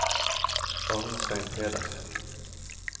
Arnstein Pedersen